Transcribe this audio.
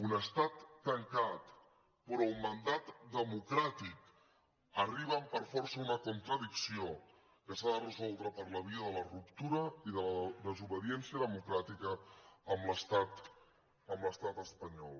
un estat tancat però i un mandat democràtic arriben per força a una contradicció que s’ha de resoldre per la via de la ruptura i de la desobediència democràtica amb l’estat amb l’estat espanyol